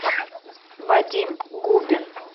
вадим губин